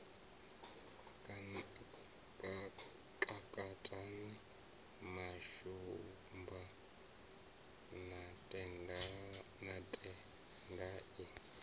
kakatana na shumba na tendai